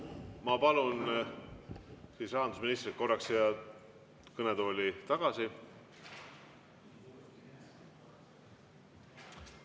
Ma palun rahandusministri korraks siia kõnetooli tagasi.